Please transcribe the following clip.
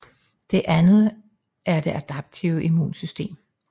Det anden er det adaptive immunsystem